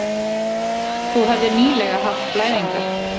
Þú hefðir nýlega haft blæðingar.